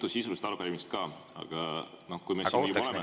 Mul on mitu sisulist arupärimist ka, aga kui me siin juba oleme …